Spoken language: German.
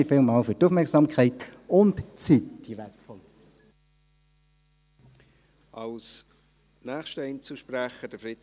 Vielen Dank für die Aufmerksamkeit und für die wertvolle Zeit!